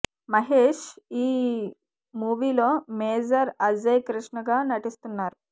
మహేష్ ఈ మూవీ లో మేజర్ అజయ్ కృష్ణ గా నటిస్తున్నారు